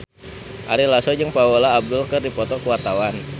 Ari Lasso jeung Paula Abdul keur dipoto ku wartawan